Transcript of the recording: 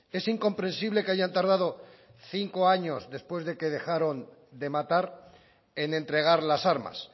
es incomprensible que hayan tardado cinco años después de que dejaron de matar en entregar las armas